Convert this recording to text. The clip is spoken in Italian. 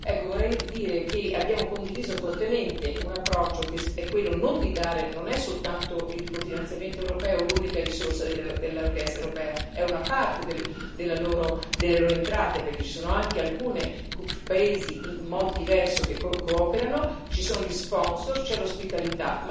Ecco, vorrei dire che abbiamo condiviso fortemente un approccio che non è soltanto il cofinanziamento europeo l'unica risorsa dell'Orchestra europea, è una parte delle loro entrate, perché ci sono anche alcuni paesi, in modo diverso, che cooperano, ci sono gli sponsor, c'è l'ospitalità.